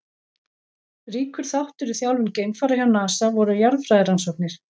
Ríkur þáttur í þjálfun geimfara hjá NASA voru jarðfræðirannsóknir.